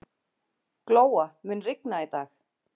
Glóa, mun rigna í dag?